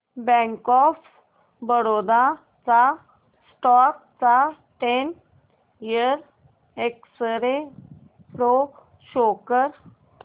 bank of Baroda च्या stock चा ten year x ray pro show कर